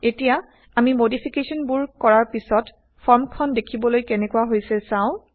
এতিয়া আমি মডিফিকেশ্যন বোৰ কৰাৰ পিছত ফৰ্ম খন দেখিবলৈ কেনেকোৱা হৈছে চাও